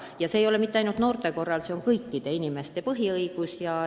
Ja see ei ole nii mitte ainult noorte puhul, see on kõikide inimeste põhiõigus.